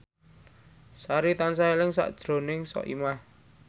Sari tansah eling sakjroning Soimah